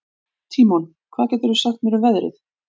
Tímon, hvað geturðu sagt mér um veðrið?